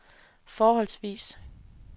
forholdsvis